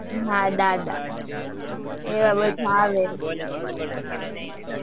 હા, દાદા